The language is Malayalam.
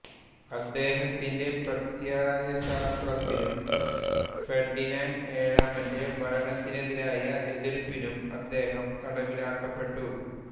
അദ്ദേഹത്തിന്റെ പ്രത്യയശാസ്ത്രത്തിനും ഫെർഡിനാന്റ് ഏഴാമന്റെ ഭരണത്തിനെതിരായ എതിർപ്പിനും അദ്ദേഹം തടവിലാക്കപ്പെട്ടു